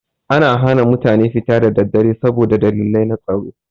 Ana hana mutane fita da daddare saboda dalilai na tsaro.